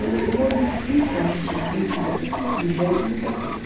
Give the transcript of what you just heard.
Eles modificam a estrutura, o jeito, muita coisa.